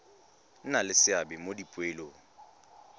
nna le seabe mo dipoelong